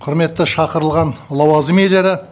құрметті шақырылған лауазым иелері